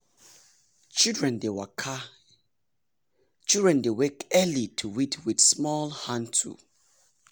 children dey wake early to weed with small hand tool.